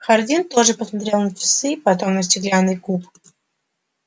хардин тоже посмотрел на часы потом на стеклянный куб